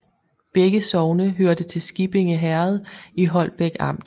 Begge sogne hørte til Skippinge Herred i Holbæk Amt